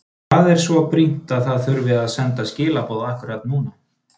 Hvað er svo brýnt að það þurfi að senda skilaboð akkúrat núna?